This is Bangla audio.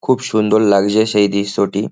খুব সুন্দর লাগছে সেই দৃশ্যটি।